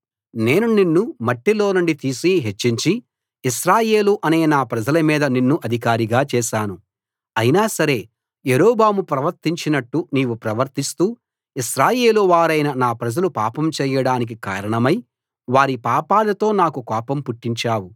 నేను నిన్ను మట్టిలోనుండి తీసి హెచ్చించి ఇశ్రాయేలు అనే నా ప్రజల మీద నిన్ను అధికారిగా చేశాను అయినా సరే యరొబాము ప్రవర్తించినట్టు నీవు ప్రవర్తిస్తూ ఇశ్రాయేలు వారైన నా ప్రజలు పాపం చేయడానికి కారణమై వారి పాపాలతో నాకు కోపం పుట్టించావు